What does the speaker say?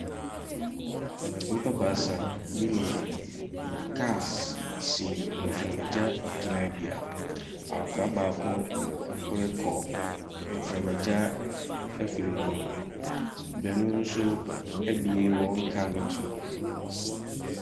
Nnipa baasa bi ne kaas si mframagya gyinabea. Akɔkora baako ɛrekɔ mframagya afiri no ho. Baanu nso abue wɔn kaa no to.